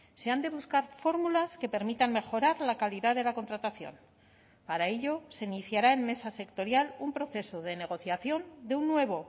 se han de buscar fórmulas que permitan mejorar la calidad de la contratación para ello se iniciará en mesa sectorial un proceso de negociación de un nuevo